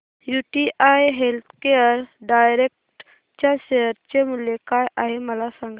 UTI healthcare direct च्या share चे मूल्य काय आहे मला सांगा